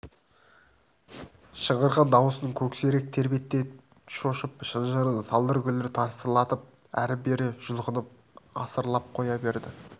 шыңғырған дауысынан көксерек төбет те шошып шынжырын салдыр-гүлдір тасырлатып әрі-бері жұлқынып арсылдап қоя берді